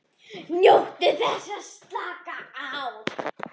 NJÓTTU ÞESS AÐ SLAKA Á